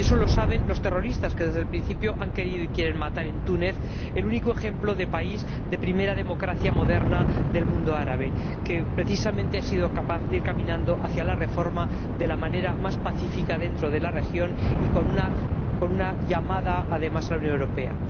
Y eso lo saben los terroristas, que desde el principio han querido y quieren matar en Túnez, el único ejemplo de país, de primera democracia moderna del mundo árabe que, precisamente, ha sido capaz de ir caminando hacia la reforma de la manera más pacífica dentro de la región, y con una llamada además a la Unión Europea.